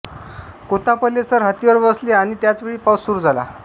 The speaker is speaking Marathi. कोत्तापल्ले सर हत्तीवर बसले आणि त्याचवेळी पाऊस सुरू झाला